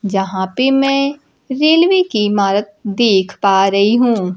यहां पे मैं रेलवे की इमारत देख पा रही हूं।